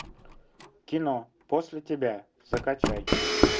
кино после тебя закачай